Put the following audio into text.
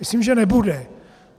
Myslím, že nebude.